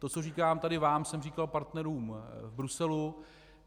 To, co říkám tady vám, jsem říkal partnerům v Bruselu.